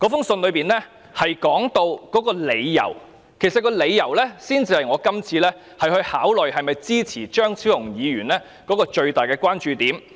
信中指出的理由，才是我今次考慮是否支持張超雄議員的議案的最大關注點。